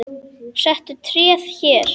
Settu tréð hér.